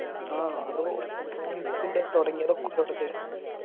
ആ ആരോ